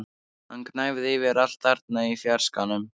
Hann gnæfði yfir allt þarna í fjarskanum!